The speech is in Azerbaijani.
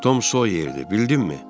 Tom Soyerdir, bildinmi?